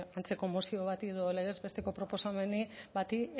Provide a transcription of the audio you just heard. antzeko mozio bati edo legez besteko proposamen bati